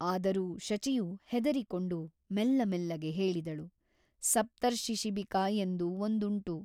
ಆದರೂ ಶಚಿಯು ಹೆದರಿಕೊಂಡು ಮೆಲ್ಲಮೆಲ್ಲಗೆ ಹೇಳಿದಳು ಸಪ್ತರ್ಶಿಶಿಬಿಕಾ ಎಂದು ಒಂದುಂಟು.